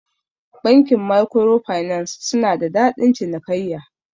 Bankin maikwiro finas suna da dadin cinikaiya.